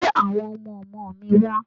Gbé àwọn ọmọ ọmọ mi wá!